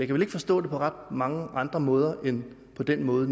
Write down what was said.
vel ikke forstå det på ret mange andre måder end på den måde